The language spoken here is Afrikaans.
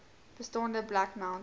bestaande black mountain